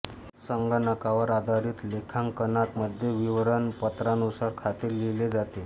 संगणकावर आधारित लेखांकनात मध्ये विवरण पत्रानुसार खाते लिहिले जाते